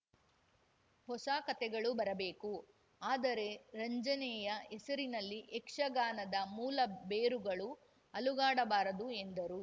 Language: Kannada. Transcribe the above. ಹೊಸ ಕಥೆಗಳು ಬರಬೇಕು ಆದರೆ ರಂಜನೆಯ ಹೆಸರಲ್ಲಿ ಯಕ್ಷಗಾನದ ಮೂಲ ಬೇರುಗಳು ಅಲುಗಾಡಬಾರದು ಎಂದರು